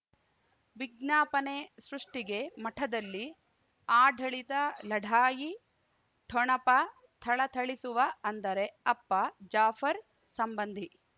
ವಿಜ್ಞಾಪನೆ ಸೃಷ್ಟಿಗೆ ಮಠದಲ್ಲಿ ಆಡಳಿತ ಲಢಾಯಿ ಠೊಣಪ ಥಳಥಳಿಸುವ ಅಂದರೆ ಅಪ್ಪ ಜಾಫರ್ ಸಂಬಂಧಿ